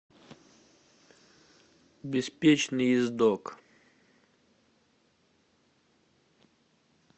беспечный ездок